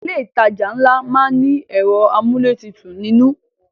Ilé ìtajà ńlá má ń ní ẹ̀rọ amúlétutù nínú